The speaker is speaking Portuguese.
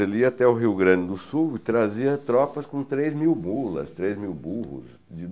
Ele ia até o Rio Grande do Sul e trazia tropas com três mil mulas, três mil burros.